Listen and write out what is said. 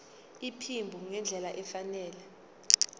iphimbo ngendlela efanele